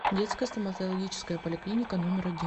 детская стоматологическая поликлиника номер один